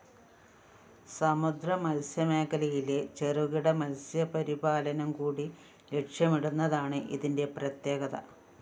സമുദ്ര മത്സ്യമേഖലയിലെ ചെറുകിട മത്സ്യപരിപാലനംകൂടി ലക്ഷ്യമിടുന്നതാണ് ഇതിന്റെ പ്രത്യേകത